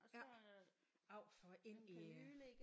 Ja av for ind i